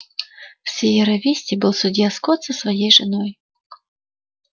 в сиерра висте был судья скотт со своей женой